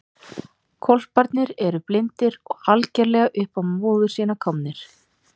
Hvolparnir eru blindir og algerlega upp á móður sína komnir.